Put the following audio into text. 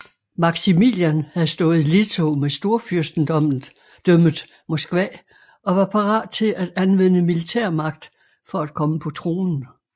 Maximilian havde stået i ledtog med Storfyrstendømmet Moskva og var parat til at anvende militærmagt for at komme på tronen